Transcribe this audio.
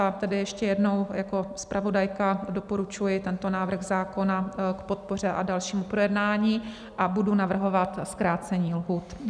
A tedy ještě jednou, jako zpravodajka doporučuji tento návrh zákona k podpoře a dalšímu projednání a budu navrhovat zkrácení lhůt.